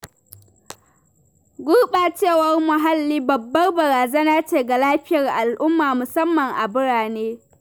Gurɓacewar muhalli babbar barazana ce ga lafiyar al’umma musamma a birane.